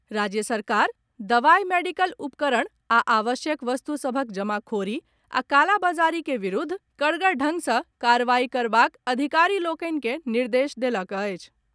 राज्य सरकार दवाई, मेडिकल उपकरण आ आवश्यक वस्तु सभक जमाखोरी आ कालाबाजारी के विरूद्ध कड़गर ढंग सँ कार्रवाई करबाक अधिकारी लोकनि के निर्देश देलक अछि।